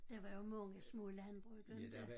Der var jo mange små landbrug inte